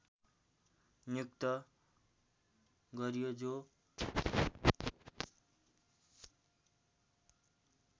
नियुक्त गरियो जो